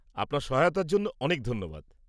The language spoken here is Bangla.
আপনার সহায়তার জন্য অনেক ধন্যবাদ।